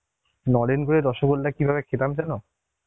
নলেন গুড়ের রসগোল্লা কিভাবে খেতাম জানো?